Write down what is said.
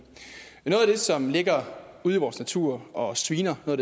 som ligger ude i vores natur og sviner og